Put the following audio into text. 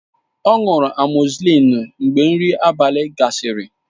Ọ ṅụrụ amọzisillin mgbe nri abalị gasịrị